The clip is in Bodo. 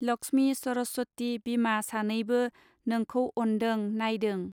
लक्ष्मी सरस्वती बिमा सानैबो नोंखौ अनदों नायदों.